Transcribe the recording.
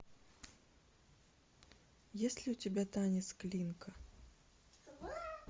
есть ли у тебя танец клинка